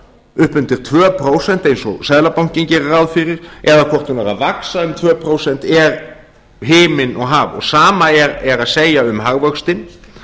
upp undir tvö prósent eins og seðlabankinn gerir ráð fyrir eða hvort hún er að vaxa um tvö prósent er himinn og haf sama er að segja um hagvöxtinn